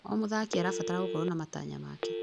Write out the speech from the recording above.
O mũthaki arabatara gũkorwo na matanya make.